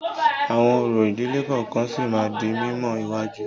Àwọn orò ìdílé kọ̀ọ̀kan sì máa di mímọ̀ iwájú.